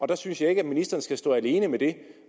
der synes jeg ikke at ministeren skal stå alene med det